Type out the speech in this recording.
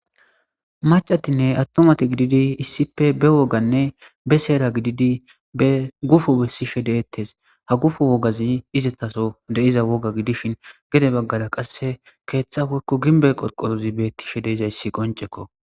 Macatinne attumati gididi issippe be wogganne be seera gididii be gufo besishe de'ettes ha gufo woggazi izetaso wogga gidishin gedde baggara qase keththa woykko gimbbe qorqorozi bettishe de'izayssi qonccekko